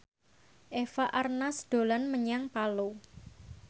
Eva Arnaz dolan menyang Palu